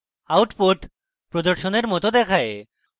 output প্রদর্শনের মত দেখায়